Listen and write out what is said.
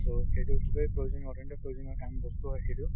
so সেইটো খুবেই প্ৰয়োজনীয় প্ৰয়োজনীয় কাম বস্তু হয় সেইটো ।